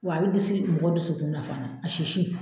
Wa a bɛ disi mɔgɔ dusukun fana a sisi.